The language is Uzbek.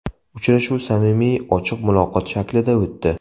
Uchrashuv samimiy, ochiq muloqot shaklida o‘tdi.